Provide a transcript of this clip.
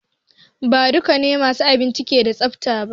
Ba dukannin masu abinci ke da tsafta ba.